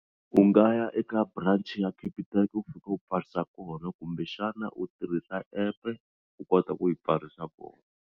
U nga ya eka branch ya Capitec u fika u pfarisa kona kumbexana u tirhisa app u kota ku yi pfarisa kona.